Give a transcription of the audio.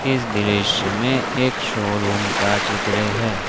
इस दृश्य में एक शोरूम का चित्र है।